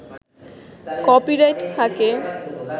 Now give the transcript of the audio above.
copyright থাকে